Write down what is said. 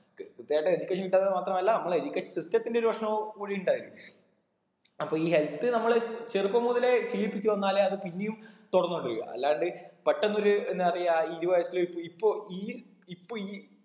ക് കൃത്യായിട്ടും എനിക്ക് മാത്രമല്ല നമ്മളെ education system ത്തിന്റെ ഒരു പ്രശ്നവും കൂടി ഇണ്ട് അതില് അപ്പൊ ഈ health നമ്മള് ചെറുപ്പം മുതലേ ശീലിപ്പിച്ച് വന്നാലേ അത് പിന്നെയും തുടർന്ന് കൊണ്ടിരിക്ക അല്ലാണ്ട് പെട്ടെന്നൊരു എന്താ പറയാ ഇരുവയസില് ഇപ്പൊ ഈ ഇപ്പൊ ഈ